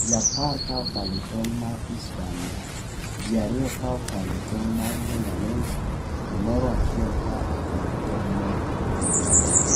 ji apar ka okalo e tong' mar Isebania, ji ariyo ka okalo e tong' mar lunga lunga to moro achiel ka okalo e tong' mar loitoktok